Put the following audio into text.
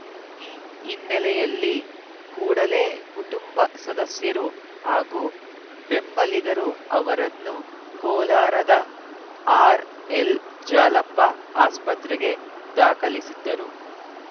ಈ ಹಿನ್ನೆಲೆಯಲ್ಲಿ ಕೂಡಲೇ ಕುಟುಂಬ ಸದಸ್ಯರು ಹಾಗೂ ಬೆಂಬಲಿಗರು ಅವರನ್ನು ಕೋಲಾರದ ಆರ್‌ಎಲ್‌ಜಾಲಪ್ಪ ಆಸ್ಪತ್ರೆಗೆ ದಾಖಲಿಸಿದ್ದರು